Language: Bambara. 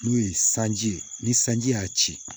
N'o ye sanji sanji y'a ci